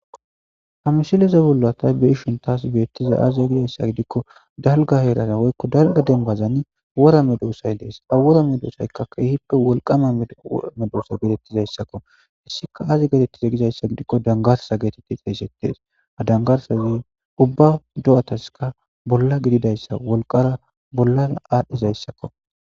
Ha misileza bolla be'ishinni tas bettizay azee gizayssa gidikko dalgga heerara woykko dalgga dembazani wooeaedosay dees ha woora medosaykka keehippe wolqqama medosa dizayssakko hissikka aygi xeysettize gizayssa gidikko danggarssa getteetes ha danggarssay uubba doattaskka bolla gididayssa hikuwas bolla adhizayssakko